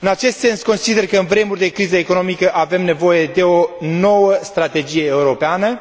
În acest sens, consider că, în vremuri de criză economică, avem nevoie de o nouă strategie europeană